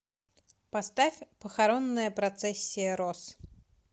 поставь похоронная процессия роз